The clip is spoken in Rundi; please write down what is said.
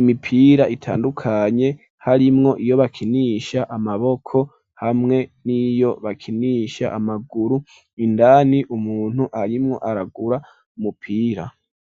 imipira itandukanye harimwo iyo bakinisha amaboko hamwe n'iyo bakinisha amaguru indani umuntu arimwo aragura umupira.